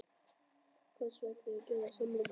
Hvers vegna að gera þetta samkomulag?